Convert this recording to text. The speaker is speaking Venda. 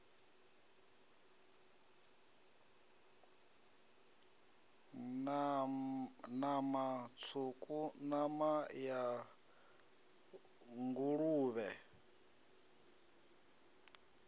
nama tswuku nama ya nguluvhe